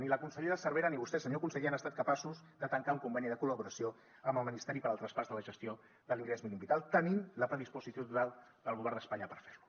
ni la consellera cervera ni vostè senyor conseller han estat capaços de tancar un conveni de col·laboració amb el ministeri per al traspàs de la gestió de l’ingrés mínim vital tenint la predisposició total del govern d’espanya per fer lo